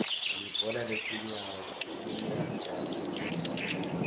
libhola letinyawo liyajabulisa